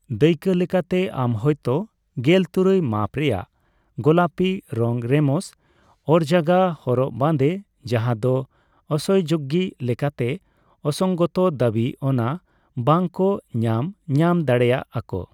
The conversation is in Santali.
ᱫᱟᱹᱭᱠᱟᱹ ᱞᱮᱠᱟᱛᱮ, ᱟᱢ ᱦᱳᱭᱛᱚ ᱜᱮᱞ ᱛᱩᱨᱩᱭ ᱢᱟᱯ ᱨᱮᱭᱟᱜ ᱜᱳᱞᱟᱯᱤ ᱨᱚᱝ ᱨᱮᱢᱚᱥ ᱚᱨᱜᱟᱡᱟ ᱦᱚᱨᱚᱜ ᱵᱟᱫᱮ, ᱡᱟᱦᱟ ᱫᱚ ᱟᱥᱚᱭᱡᱳᱜᱚ ᱞᱮᱠᱟᱛᱮ ᱚᱥᱚᱝᱜᱚᱛᱚ ᱫᱟᱵᱤ, ᱚᱱᱟ ᱵᱟᱝ ᱠᱚ ᱧᱟᱢ ᱧᱟᱢ ᱫᱟᱲᱮᱭᱟᱜ ᱟᱠᱚ᱾